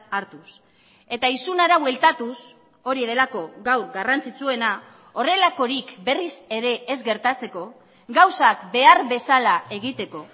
hartuz eta isunera bueltatuz hori delako gaur garrantzitsuena horrelakorik berriz ere ez gertatzeko gauzak behar bezala egiteko